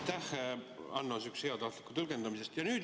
Aitäh, Hanno, sihukese heatahtliku tõlgendamise eest!